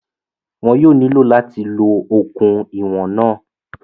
Wọn yóò nílò láti lo okùn ìwọ̀n náà